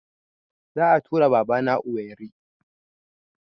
Za a tura Baba na Owerri